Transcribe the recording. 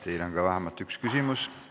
Teile on vähemalt üks küsimus.